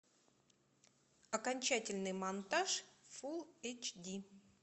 окончательный монтаж фул эйч ди